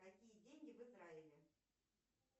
какие деньги в израиле